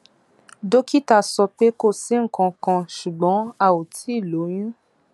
dókítà sọ pé kò sí nǹkan kan ṣùgbọn a ò tíì lóyún